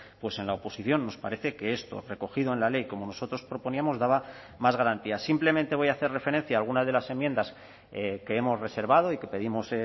pues en la oposición nos parece que esto recogido en la ley como nosotros proponíamos daba más garantías simplemente voy a hacer referencia a algunas de las enmiendas que hemos reservado y que pedimos